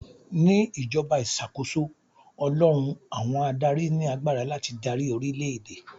Ní ìjọba ìṣàkóso, Ọlọ́run àwọn adáári ni agbára láti darí orílè èdè.